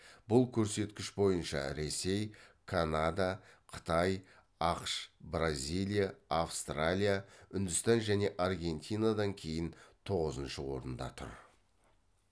бұл көрсеткіш бойынша ресей канада қытай ақш бразилия австралия үндістан және аргентинадан кейін тоғызыншы орында тұр